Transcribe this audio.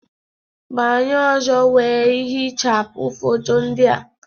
Banye ọzọ wee hichapụ foto ndị a